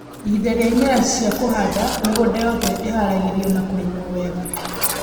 ihinda rĩa ĩmera cĩa kũhanda, mĩgũnda yothe ĩharagĩrio na kũrĩmwo wega